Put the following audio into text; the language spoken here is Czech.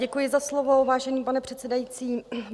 Děkuji za slovo, vážený pane předsedající.